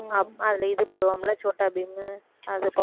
அஹ் அதில இது போடுவோம்ல சோட்டா பீம் அது பா~